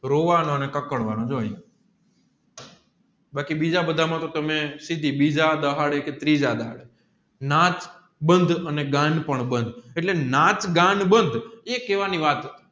રોવાનું અને કકડવાનું બાકી બીજા બધા માં તો તમે બીજા દહાડે કે ત્રીજા દહાડે બંધ અને પણ બંધ એટલે બંધ એ કહેવાની વાત